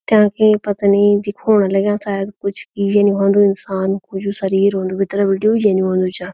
ताकि पतनी दिखोण लग्याँ शायद कुछ यनि होन्दु इन्सान कु जू शरीर होन्दु भीतर बीटी यनि होन्दु छा।